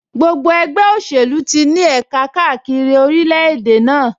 Gbogbo ẹgbẹ́ òṣèlú ti ní ẹ̀ka káàkiri orílẹ̀-èdè náà